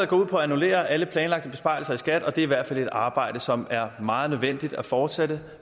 går ud på at annullere alle planlagte besparelser i skat og det er i hvert fald et arbejde som er meget nødvendigt at fortsætte